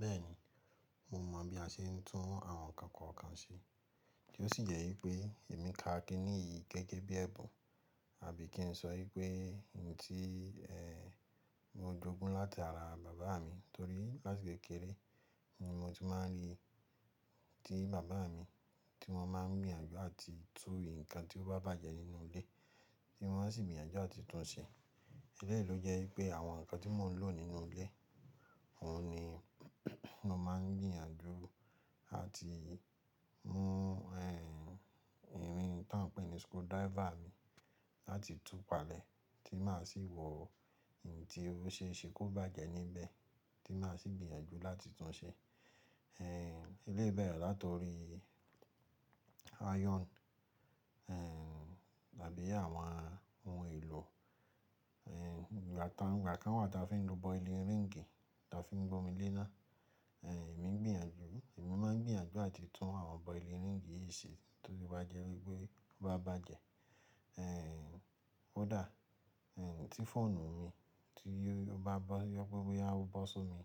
Bẹ́ẹ̀ni, mo mọ̀ bí a ṣe ń tún àwọn nǹkan kọ̀ọ̀kan ṣe tí ó sì jẹ́ ípé èmi ka kiniyi gẹ́gẹ́ bí ẹ̀bùn àbí kí n sọ í pé ohun tí, ehn, mo jógún láti ara bàbá mi torí láti kékeré, mo mo ti máa ń ríi tí bàbá mi tí wọ́n máa ń gbìyànjú àti tún nǹkan tí ó bá bàjẹ́ nínú ilé tí wọ́n sì ń gbìyànjú àti tún un ṣe. Elẹ́yìí ló jẹ́ wípé àwọn nǹkan tí mò ń lò nínú ilé, òhun ni mo máa ń gbìyànjú àti mú, ehn, irin tọ́ ń pè ní screwdriver ni láti tún palẹ̀ tí màá sì wọ ohun tí ó ṣe é ṣe kó bàjẹ́ níbẹ̀ tí màá sì gbìyànjú láti tún un ṣe. Ehn, eléyii bẹ̀rẹ̀ láti orí iron, ehn, àbí àwọn ohun èlò, ehn, ìgbà tá n-- ìgbà kan wà tí a fi ń lo boiling ring tí a fi ń gbọ́mi lé náà, ehn, èmi gbìyànjú, èmi máa ń gbìyànjú àti tún àwọn boiling ring yìí ṣe tó bá jẹ́ wípé ó bá bàjẹ́. Ehn, ó dà, ehn, tí fóònù mi tí ó bá bọ́, yọ pé boya ó bọ́ só mi,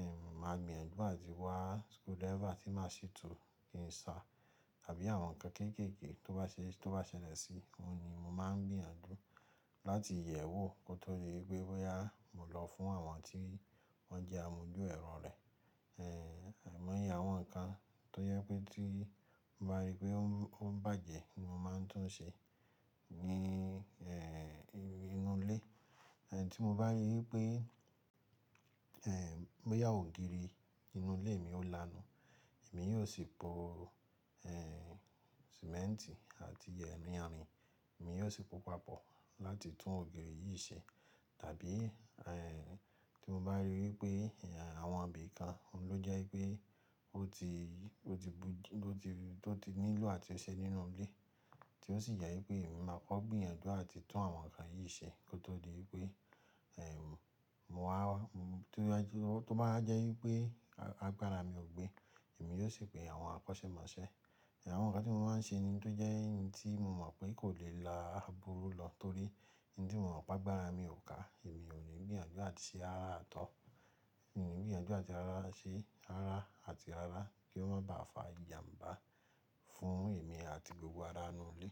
ehn, màá gbìyànjú àti wá screwdriver tí màá sì tú kí n sa, àbí àwọn nǹkan kéékèèké tó bá ṣe, tó bá ṣẹlẹ̀ sí i, òhun ni mo máa ń gbìyànjú láti yẹ̀ ẹ́ wò kó tó di wípé boya, mo lọ fún àwọn tí wọ́n jẹ́ amojú ẹ̀rọ rẹ̀. Ehn, àìmọ́yẹ́ àwọn nǹkan tó yẹ wipé tí n bá rí pé ó ń, ó ń bàjẹ́ ni mo máa ń tún un ṣe ní, ehn, ti inú ilé. Ehn, tí mo bá rí í pé, ehn, boya ògiri inú ilé mi ó lanu, èmi yóò sì po, ehn, sìmẹ́ńtì àti ye mía ami, èmi yóò sì po papọ̀ láti tún ògiri yìí ṣe. Tàbí, ehn, tí mo bá rí i wípé, ehn, àwọn ibi kan ló jẹ́ í pé ó ti, ó ti bú-- ló ti, tó ti nílò àti ṣe nínú ilé tí ó sì jẹ́ i pé èmi máa kọ́ gbìyànjú àti tún àwọn nǹkan yìí ṣe kó tó di wípé, ehn, mo wá, to ba je, tó báwa jẹ́ wípé agbára mi ò gbé, èmi yóò sì pe àwọn akọ́ṣẹ́mọṣẹ́. Àwọn nǹkan tí mo maa ń ṣe ni tó jẹ́ n tí mo mọ̀ pé kò lè la burú lọ torí n ti mọ̀ pé agbára mi ò ká, èmi ò ní gbìyànjú làti ṣe rara rara at all. Èmi ò ní gbìyànjú àti rara ṣe rara àti rara kí ó má bàá fà ìjàǹbá fún èmi àti gbogbo ará inú ilé.